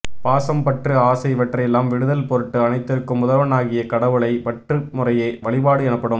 பாசம் பற்று ஆசை இவற்றையெல்லாம் விடுதல் பொருட்டு அனைத்திற்கும் முதல்வனாகிய கடவுளை பற்றும் முறையே வழிபாடு எனப்படும்